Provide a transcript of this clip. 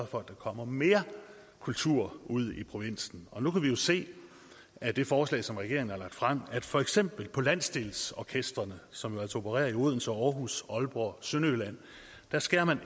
for at der kommer mere kultur ud i provinsen og nu kan vi jo se af det forslag som regeringen har fremsat at for eksempel landsdelsorkestrene som opererer i odense aarhus aalborg og sønderjylland beskærer man